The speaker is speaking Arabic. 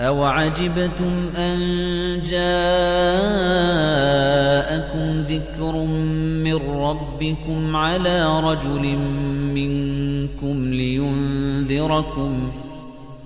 أَوَعَجِبْتُمْ أَن جَاءَكُمْ ذِكْرٌ مِّن رَّبِّكُمْ عَلَىٰ رَجُلٍ مِّنكُمْ لِيُنذِرَكُمْ ۚ